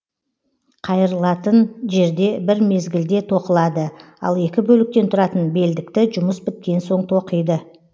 қайырлатын жерде бір мезгілде тоқылады ал екі бөліктен тұратын белдікті жұмыс біткен соң тоқиды